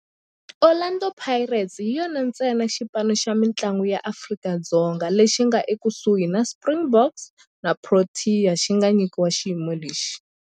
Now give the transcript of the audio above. Orlando Pirates hi yona ntsena xipano xa mintlangu xa Afrika-Dzonga lexi nga ekusuhi na Springboks na Proteas lexi nga nyikiwa xiyimo lexi.